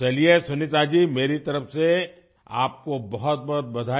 चलिए सुनीता जी मेरी तरफ से आपको बहुतबहुत बधाई